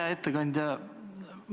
Hea ettekandja!